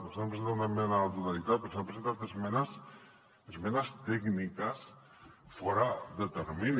nosaltres hem presentat esmena a la totalitat però s’han presentat esmenes esmenes tècniques fora de termini